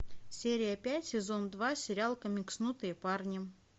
серия пять сезон два сериал комикснутые парни